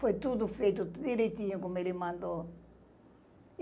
Foi tudo feito direitinho como ele mandou.